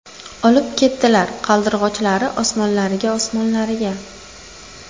Olib ketdilar Qaldirg‘ochlari Osmonlariga, Osmonlariga.